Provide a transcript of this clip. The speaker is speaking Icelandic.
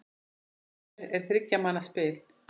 Lomber er þriggja manna spil.